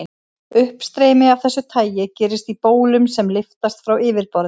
Uppstreymi af þessu tagi gerist í bólum sem lyftast frá yfirborði.